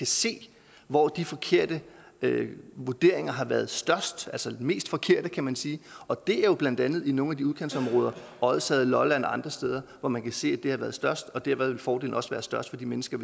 se hvor de forkerte vurderinger har været størst altså de mest forkerte kan man sige og det er jo blandt andet i nogle af udkantsområderne odsherred lolland og andre steder hvor man kan se at de har været størst og derved vil fordelene også være størst for de mennesker